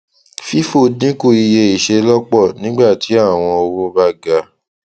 fifo dinku iye iṣelọpọ nigba tí awọn owó ba ga